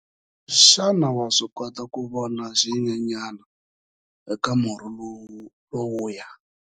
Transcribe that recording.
Xana wa swi kota ku vona xinyenyana eka murhi lowuya?